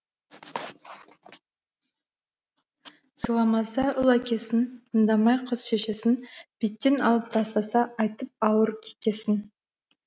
сыйламаса ұл әкесін тыңдамай қыз шешесін беттен алып тастаса айтып ауыр кекесін